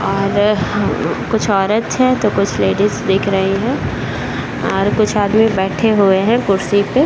और ह उम्म कुछ औरत हैं तो कुछ लेडीज दिख रही हैं और कुछ आदमी बैठे हुए हैं कुर्सी पे।